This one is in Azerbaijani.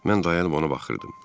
Mən dayanıb ona baxırdım.